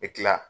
U bɛ tila